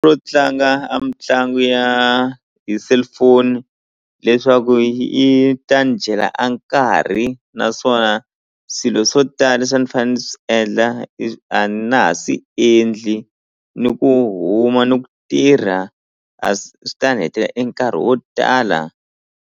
Ro tlanga a mitlangu ya hi cellphone leswaku yi ta ni dyela a nkarhi naswona swilo swo tala leswi a ni fane ni swi endla a na ha swi endli ni ku huma ni ku tirha a swi ta ni hetela e nkarhi wo tala.